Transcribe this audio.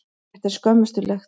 Þetta er skömmustulegt.